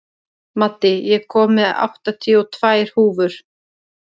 Maddý, ég kom með áttatíu og tvær húfur!